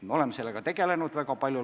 Me oleme sellega tegelenud väga palju.